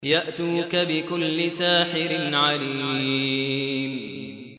يَأْتُوكَ بِكُلِّ سَاحِرٍ عَلِيمٍ